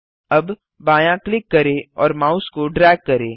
अब बायाँ क्लिक करें और माउस को ड्रैग करें